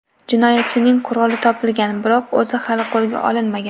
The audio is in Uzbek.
Jinoyatchining quroli topilgan, biroq o‘zi hali qo‘lga olinmagan.